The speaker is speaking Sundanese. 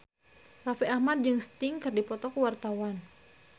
Raffi Ahmad jeung Sting keur dipoto ku wartawan